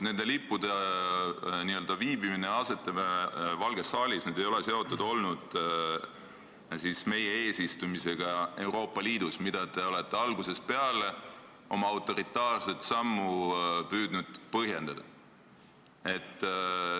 Nende lippude n-ö viibimine Valges saalis ei ole seotud olnud meie eesistumisega Euroopa Liidus, millega te olete algusest peale oma autoritaarset sammu püüdnud põhjendada.